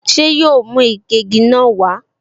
Ṣé yóò mú ìgégi náà wá?